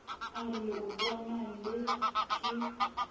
a re leotwana lee ke